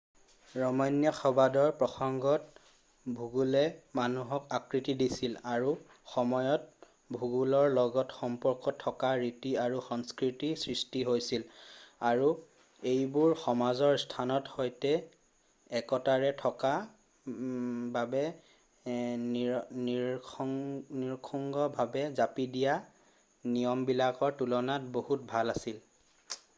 ৰমন্যাসবাদৰ প্ৰসংগত ভূগোলে মানুহক আকৃতি দিছিল আৰু সময়ত ভূগোলৰ লগত সম্পৰ্ক থকা ৰীতি আৰু সংস্কৃতিৰ সৃষ্টি হৈছিল আৰু এইবোৰ সমাজৰ স্থানৰ সৈতে একতাৰে থকা বাবে নিৰঙ্কুশভাৱে জাপি দিয়া নিয়মবিলাকৰ তুলনাত বহুত ভাল আছিল